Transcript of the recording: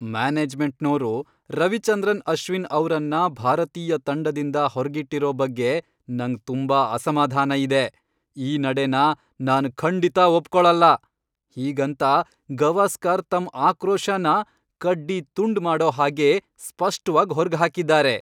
ಮ್ಯಾನೇಜ್ಮೆಂಟ್ನೋರು ರವಿಚಂದ್ರನ್ ಅಶ್ವಿನ್ ಅವ್ರನ್ನ ಭಾರತೀಯ ತಂಡದಿಂದ ಹೊರ್ಗಿಟ್ಟಿರೋ ಬಗ್ಗೆ ನಂಗ್ ತುಂಬಾ ಅಸಮಾಧಾನ ಇದೆ. ಈ ನಡೆನ ನಾನ್ ಖಂಡಿತ ಒಪ್ಕೊಳಲ್ಲ. ಹೀಗಂತ ಗವಾಸ್ಕರ್ ತಮ್ಮ್ ಆಕ್ರೋಶನ ಕಡ್ಡಿ ತುಂಡ್ ಮಾಡೋ ಹಾಗೆ ಸ್ಪಷ್ಟ್ವಾಗ್ ಹೊರ್ಗ್ಹಾಕಿದಾರೆ.